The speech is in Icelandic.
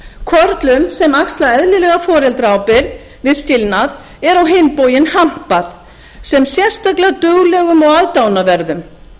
körlum sem axla eðlilega foreldraábyrgð við skilnað er á hinn bóginn hampað sem sérstaklega duglegum og aðdáunarverðum